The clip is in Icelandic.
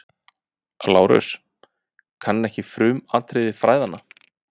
LÁRUS: Kann ekki frumatriði fræðanna.